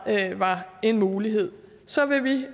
var en mulighed så vil vi